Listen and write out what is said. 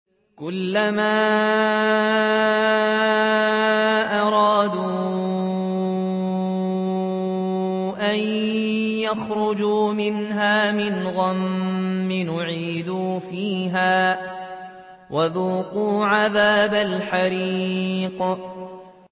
كُلَّمَا أَرَادُوا أَن يَخْرُجُوا مِنْهَا مِنْ غَمٍّ أُعِيدُوا فِيهَا وَذُوقُوا عَذَابَ الْحَرِيقِ